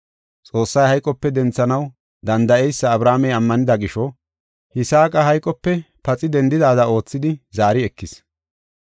Xoossay hayqope denthanaw danda7eysa Abrahaamey ammanida gisho, Yisaaqa hayqope paxi dendidaada oothidi zaari ekis.